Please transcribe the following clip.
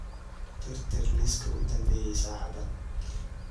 tirtir liiska u dambeeyay saacadan